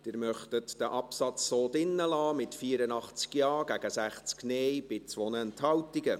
Sie möchten diesen Absatz so belassen, mit 84 Ja- gegen 60 Nein-Stimmen bei 2 Enthaltungen.